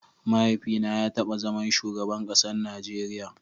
Mahaifi na ya taba zaman shugaban kasan Najeria.